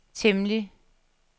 temmelig